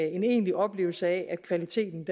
en egentlig oplevelse af at kvaliteten